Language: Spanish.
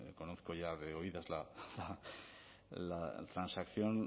conozco ya de oídas la transacción